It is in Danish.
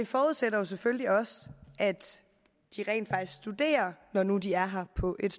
forudsætter selvfølgelig også at de rent faktisk studerer når når de er her på et